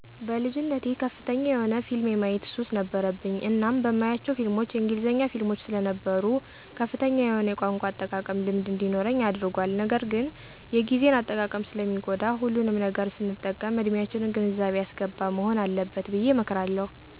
በልጅነቴ ከፍተኛ የሆነ ፊልም የማየት ሱስ ነበረብኝ እናም የማያቸው ፊልሞች የእንግሊዘኛ ፊልሞች ሰለነበሩ ከፍተኛ የሆነ የቋንቋ አጠቃቀም ልምድ እንዲኖረኝ አድርጓል ነገርግን የግዜን አጠቃቀም ሰለሚጎዳ ሁሉንም ነገር ሰንጠቀም እድሚያችንን ግንዛቤ ያሰገባ መሆን አለበት ብየ እመክራለሁ።